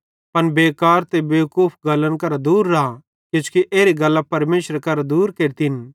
पन बेकार ते बेवकूफ गल्लन करां दूर राए किजोकि एरी गल्लां परमेशरे करां दूर केरतिन